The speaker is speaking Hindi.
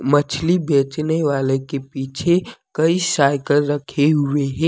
मछली बेचने वाले के पीछे कई साइकिल रखे हुए हैं।